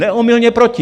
Neomylně proti!